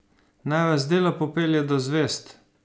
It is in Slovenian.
Naj vas delo popelje do zvezd!